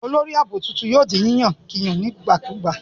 Olórí ààbò tuntun yóò di yíyàn nígbàkigbà.